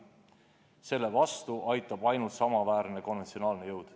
Selle vastu aitab ainult samaväärne konventsionaalne jõud.